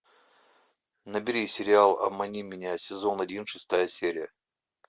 набери сериал обмани меня сезон один шестая серия